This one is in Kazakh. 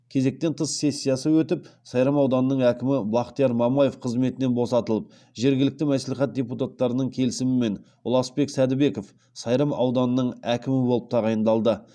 кезектен тыс сессиясы өтіп сайрам ауданының әкімі бақтияр мамаев қызметінен босатылып жергілікті мәслихат депутаттарының келісімімен ұласбек сәдібеков сайрам ауданының әкімі болып тағайындалды